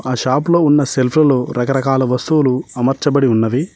ఆ షాపు లో ఉన్న సెల్ఫ్ లలో రకరకాల వస్తువులు అమర్చబడి ఉన్నవి.